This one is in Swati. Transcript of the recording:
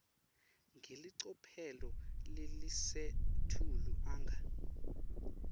ngelicophelo lelisetulu anga